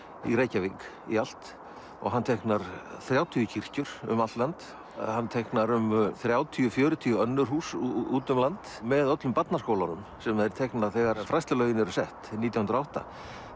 í Reykjavík í allt hann teiknar þrjátíu kirkjur um allt land hann teiknar um þrjátíu til fjörutíu önnur hús út um land með öllum barnaskólunum sem þeir teikna þegar fræðslulögin eru sett nítján hundruð og átta